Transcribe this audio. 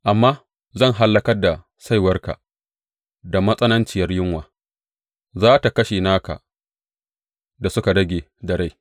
Amma zan hallakar da saiwarka da matsananciyar yunwa; za tă kashe naka da suka rage da rai.